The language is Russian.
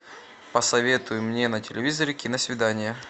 посоветуй мне на телевизоре киносвидание